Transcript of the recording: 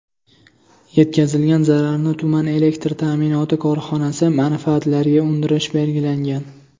Yetkazilgan zararni tuman elektr ta’minoti korxonasi manfaatlariga undirish belgilangan.